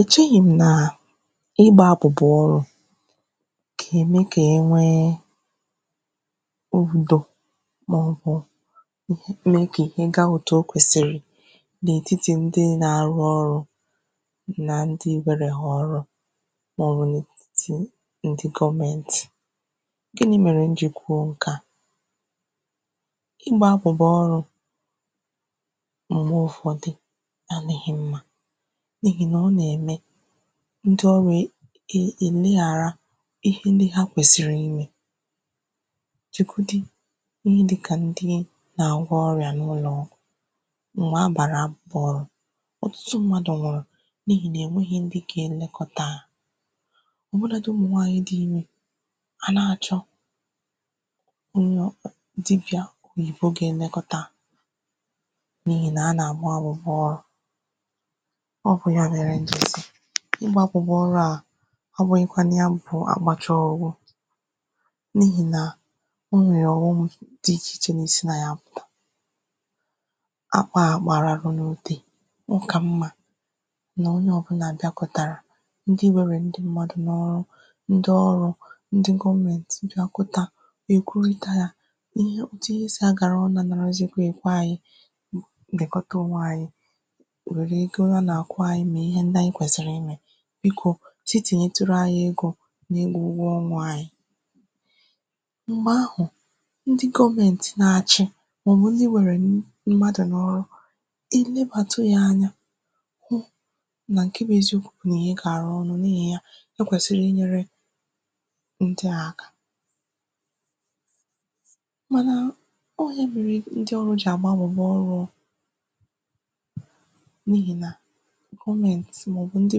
è cheghì m nà ịgbā abụ̀bụ̀ ọrụ̄ gà-ème kà e nwee ogbūdò n’avọ mee ka ihe gaa òtù o kwèsìrì n’etitì ndị na-arụ ọrụ̄ nà ndị bịara ha ọrụ màọbụ̀ nà tii ndị goomentì ginī mère m jì kwuo ǹke a ịgbā abụ̀bụ̀ ọrụ̄ m̀geb ụ̀fọdị adị̄ghị mmā n’ihì nà ọ nà-ème ndị ọrụ̄ è è ènyighàrà ihe ndị ha kwèsìrì imē chịkwụdị ihe dịkà ndị nà-àgwọ ọrịà n’ụlọ̀ ma bàra ọ̀ osisi mmadụ̀ nwụ̀rụ̀ n’ihì nà è nwēghi ndị gā elekọta hā ọ̀ bụlādị umù nwaanyị̀ dị ime à na-àchọ nwa dibị̀a na èfo ga-elekọta hā n’ihì nà ha nààgba abụbụ ọrụ̄ ọ bụ̀ ya mèrè m ji si ịgbā àbụbụ ọrụ a abụ̄ghị kwanụ ya bụ̀ bụ agbàcha ọ̀ gwụ n’ihì nà ihè ọ̀ghọm di ichè ichè na-esi nà ya apụ̀ akpā a agbàra n’utē ọ kà mmā nà onye ọ̀bụlà bịàkọ̀tàrà ndị nwerè ndị mmadụ̀ n’ọrụ ndị ọrụ̄ ndị goomentì bịakọta wee kụlịta yā ihe otu ihe sì agàrà ọnụ̄ anọ̀rọzịkwa èbe anyị̄ dèkọta ònwe ànyị nwère ike ụra nà-àkwa anyị mee ihe ndị anyị kwèsìrì imē biko si tìnyeturu anyị egō n’ime ụgwọ ọnwā anyị m̀gbè ahụ̀ ndị gomentì na-achị màọbụ na-iwerènu mmadụ̀ n’ọrụ ilebàtu yā anya mà ǹke bụ eziokwū n aị gàrà ọrụ n’ihì ya o kwèsiri inyēre ndị a aka mana ọ ihe mere ndị ọrụ jì àgbanwè n’ọrụ ọ n’ihì nà gomentì màọbụ̀ ndị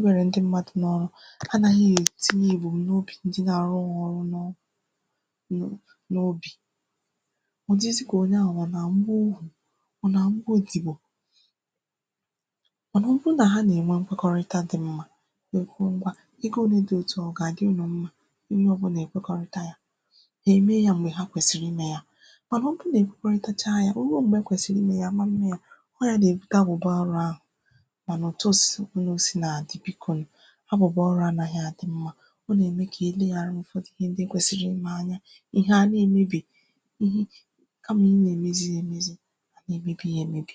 nwerè ndị mmadụ̀ n’ọrụ anāghị è tinye ìgbogho n’obì ndị na-arụrụ hā ọrụ ṅnụọ mm n’obì ọ̀ dịzị kà onye ahụ̀ ọ nà-àhụ gwogwò ọ nà-àhụkwa ogìtipọ mànà ọ bụrụ nà ha na-ènwe nkwekọrịta dị mmā wee kwuo ngwā ego ole di òtu a ọ̀ gà-àdị unù mma onye ọbụlà èkwekọrịta yā hà eme ya m̀gbè ha kwèsìrì imē ya màkà ọ bụrụ nà ekwekọrịtacha yā o ruo m̀gbè e kwèsìrì imē ya àma mme ya ọ y anà-èbute abụ̀bụ̀ ọrụ ahụ̀ ọ̀ nọ̀tọsị nọ sin à-àdị bikonu abụ̀bụ̀ ọrụ anāghị àdị mma ọ nà-ème kà eleghàra ụ̀fọdụ ihe ndị ekwèsìrì imē anya ihe à na-èmebì mm kamà idī na-èmezi ya èmezi a na-èmebì ya èmebì